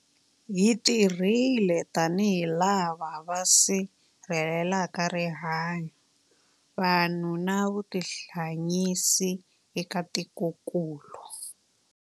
Hi tirhile tanihi lava va sirhelelaka rihanyu, vanhu na vutihanyisi eka tikokulu.